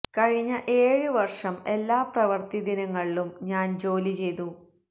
കഴിഞ്ഞ ഏഴ് വര്ഷം എല്ലാ പ്രവര്ത്തി ദിനങ്ങളിലും ഞാന് ജോലി ചെയ്തു